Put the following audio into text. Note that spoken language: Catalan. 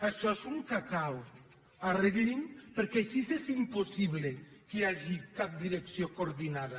això és un cacao arreglinho perquè així és impossible que hi hagi cap direcció coordinada